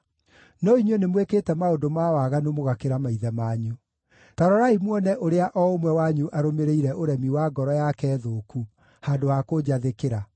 No inyuĩ nĩmwĩkĩte maũndũ ma waganu mũgakĩra maithe manyu. Ta rorai muone ũrĩa o ũmwe wanyu arũmĩrĩire ũremi wa ngoro yake thũku, handũ ha kũnjathĩkĩra.